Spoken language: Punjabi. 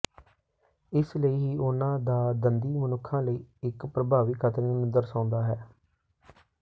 ਇਸ ਲਈ ਹੀ ਉਹਨਾਂ ਦਾ ਦੰਦੀ ਮਨੁੱਖਾਂ ਲਈ ਇਕ ਪ੍ਰਭਾਵੀ ਖ਼ਤਰੇ ਨੂੰ ਦਰਸਾਉਂਦਾ ਹੈ